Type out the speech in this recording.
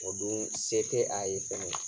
O dun se tɛ a ye fɛnɛ